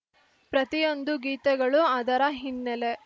ಪ್ರತಿಯೊಂದು ಗೀತಗಳೂ ಅದರ ಹಿನ್ನೆಲೆ